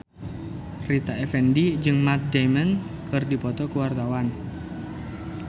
Rita Effendy jeung Matt Damon keur dipoto ku wartawan